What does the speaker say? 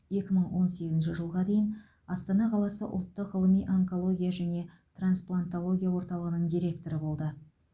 екі мың он сегізінші жылға дейін астана қаласы ұлттық ғылыми онкология және трансплантология орталығының директоры болды